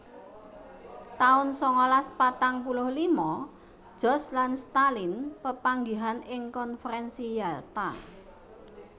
taun sangalas patang puluh lima George lan Stalin pepangihan ing Konfrènsi Yalta